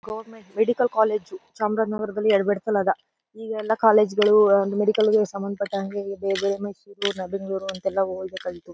Government medical college ಚಾಮರಾಜನಗರದಲ್ಲಿ ಈಗ ಎಲ್ಲ ಕಾಲೇಜ್ ಗಳು ಮೆಡಿಕಲ್ ಗೆ ಸಂಭಂದಪಟ್ಟಂಗೆ ಬೇರೆ ಬೇರೆ ಮೈಸೂರ್ ಬೆಂಗಳೂರು ಅಂತ ಎಲ್ಲ ಹೋಗ್ಬೇಕಾಯಿತು.